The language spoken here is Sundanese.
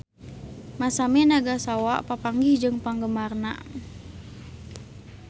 Masami Nagasawa papanggih jeung penggemarna